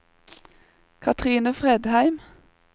Katrine Fredheim